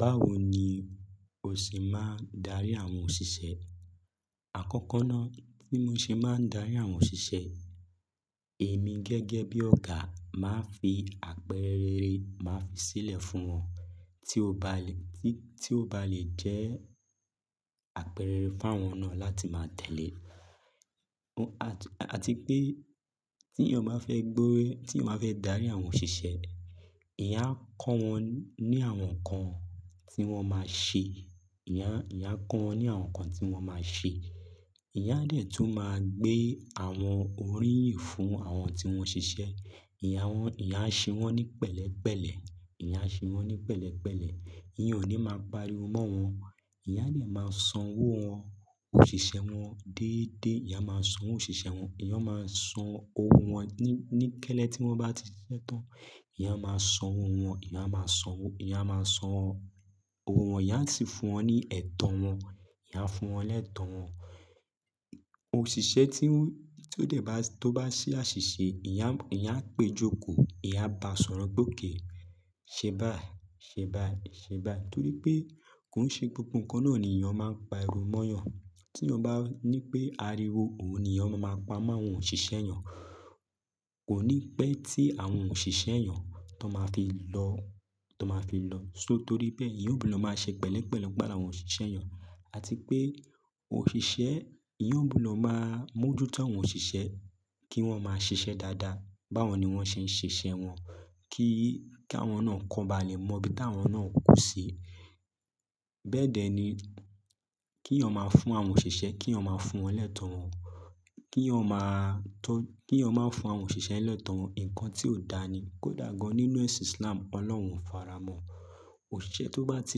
Báwo ni o ṣe máa ń darí àwọn òṣìṣẹ́? Àkọ́kọ́ ná, bí mo ṣe máa ń darí àwọn òṣìṣẹ́, èmi gẹ́gẹ́ bí ọ̀gá máa fi àpẹẹrẹ rere máa fi sílẹ̀ fún wọn, tí ó bá le, tí, tí ó bá lè jẹ́ àpẹẹrẹ rere f'áwọn náà láti máa tẹ̀lé. Àti pé tí èèyàn bá fẹ́ gbó, tí èèyàn bá fẹ́ darí àwọn òṣìṣẹ́, èèyàn á kọ́ wọn ní àwọn nǹkan tí wọ́n máa ṣe. Ìyá, ìyá kọ́ wọn ní àwọn nǹkan tí wọ́n máa ṣe. Èèyàn á dẹ̀ tún máa gbé àwọn oríyìn fún àwọn tí wọ́n ṣiṣẹ́. Èèyàn á wọ́n, èèyàn á ṣe wọ́n ní pẹ̀lẹ́pẹ̀lẹ́. Ìyá ṣe wọ́n ní pẹ̀lẹ́pẹ̀lẹ́. Èèyàn ò ní máa pariwo mọ́ wọn. Èèyàn á dẹ̀ máa san owó wọn, òṣìṣẹ́ wọn déédéé. Èèyàn máa sanwó òṣìṣẹ́ wọn. Èèyàn máa san owó wọn ní, ní kẹ́lẹ́ tí wọ́n bá ti ṣiṣẹ́ tán. Èèyàn á máa san owó wọn. Èèyàn á máa san owó, èèyàn á máa san owó wọn. Èèyàn á sì fún wọn ní ẹ̀tọ́ wọn. Èèyàn á fún wọn lẹ́tọ̀ọ́ wọn. Òṣìṣẹ́ tí ó, tí ó dẹ̀ bá, tó bá ṣe àṣìṣe, èèyàn á, èèyàn á pèé jókòó. Èèyàn á ba sọ̀rọ̀ pé okay. "Ṣe báyìí, ṣe báyìí, ṣe báyìí." Torí pé kò ń ṣe gbogbo nǹkan náà ni èèyàn máa ń pariwo mọ́yàn. Tí èèyàn bá ní pé ariwo òun ni èèyàn máa máa pa mọ́ àwọn òṣìṣẹ́ èèyàn. Kò ní pẹ́ tí àwọn òṣìṣẹ́ èèyàn t'ọ́n máa fi lọ, t'ọ́n máa fi lọ. So torí bẹ́ẹ̀ èèyàn ó gbúdọ̀ máa ṣe pẹ̀lẹ́pẹ̀lẹ́ pẹ̀l'áwọn òṣìṣẹ́ èèyàn. Àti pé òṣìṣẹ́, èèyàn ó gbúdọ̀ máa mójú tó àwọn òṣìṣẹ́ kí wọ́n máa ṣiṣẹ́ dáadáa. Báwo ni wọ́n ṣe ń ṣiṣẹ́ wọn? Kí, kí àwọn náà k'ọ́n ba lè mọbí táwọn náà kù sí. Bẹ́ẹ̀ dẹ̀ ni kí èèyàn máa fún àwọn òṣìṣẹ́, kí èèyàn máa fún wọn lẹ́tọ̀ọ́ wọn. Kí èèyàn máa tọ́, kí èèyàn máa fún àwọn òṣìṣẹ́ lẹ́tọ̀ wọn. Nǹkan tí ò dáa ni, kódà gan-an nínú ẹ̀sìn Islam. Ọlọ́run ò fara mọ́-ọn. Òṣìṣẹ́ tó bá ti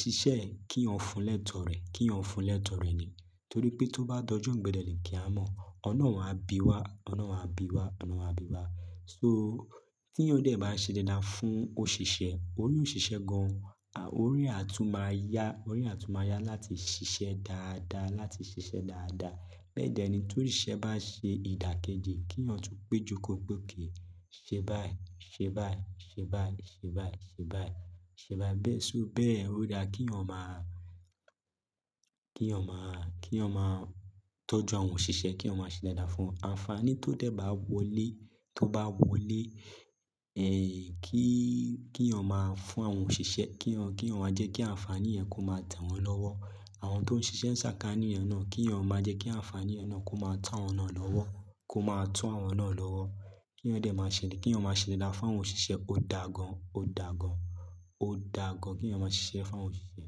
ṣiṣẹ́ ẹ̀, kí èèyàn fun lẹ́tọ̀ọ́ rẹ̀. Kí èèyàn fun lẹ́tọ̀ọ́ rẹ̀ ni. Torí pé tó bá d'ọjọ́ ìgbéǹde àlìkìámọ̀, Ọlọ́run áá bi wá, Ọlọ́run áá bi wá, Ọlọ́run áá bi wá. So tí èèyàn dẹ̀ bá ṣe dáadáa fún òṣìṣẹ́, orí òṣìṣẹ́ gan-an, orí ẹ̀ á tún máa yá, orí ẹ̀ á tún máa yá láti ṣiṣẹ́ dáadáa, láti ṣiṣẹ́ dáadáa. Bẹ́ẹ̀ dẹ̀ ni t'óṣìṣẹ́ bá ṣe ìdàkejì kí èèyàn tún pèé jókòó pé okay "Ṣe báyìí, ṣe báyìí, ṣe báyìí, ṣe báyìí, ṣe báyìí, ṣe báyìí." Bẹ́ẹ̀ so bẹ́ẹ̀. Ó dáa kí èèyàn máa, kí èèyàn máa, kí èèyàn máa tọ́jú àwọn òṣìṣẹ́ kéèyàn máa ṣe dáadáa fún un. Àǹfààní tó dẹ̀ bá wọlé, tó bá wọlé, kí, kéèyàn máa fún àwọn òṣìṣẹ́, kéèyàn, kéèyàn wá jẹ́ kí àǹfààní yẹn kó máa tẹ̀ wọ́n lọ́wọ́. Àwọn tó ń ṣiṣẹ́ ń sàkàánì èèyàn náà kí èèyàn máa jẹ́ kí àǹfààní yẹn náà kó máa tó àwọn náà lọ́wọ́, kó máa tó àwọn náà lọ́wọ́. Kí èèyàn dẹ̀ máa ṣe dé, kí èèyàn máa ṣe dáadáa fún àwọn òṣìṣẹ́. Ó dàgan, ó dàgan, ó dàgan kí èèyàn máa ṣiṣẹ́ fún àwọn òṣìṣẹ́.